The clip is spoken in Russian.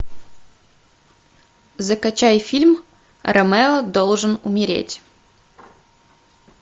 закачай фильм ромео должен умереть